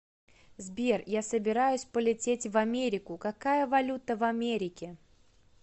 сбер я собираюсь полететь в америку какая валюта в америке